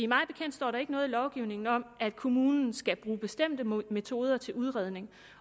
mig bekendt står der ikke noget i lovgivningen om at kommunen skal bruge bestemte metoder til udredning